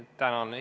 Tänan!